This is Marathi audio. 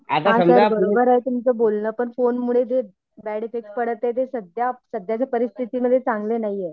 हां सर बरोबर आहे सर तुमचं बोलणं पण फोन मुले जे बॅड एफ्फेक्ट पडत आहे ते सध्या सध्याच्या परिस्थितीमध्ये चांगलं नाहीये.